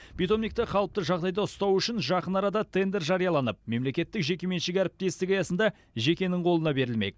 питомникті қалыпты жағдайда ұстау үшін жақын арада тендер жарияланып мемлекеттік жекеменшік әріптестік аясында жекенің қолына берілмек